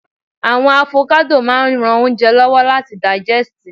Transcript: awon avokado maa n ran ounje lowo lati daijesti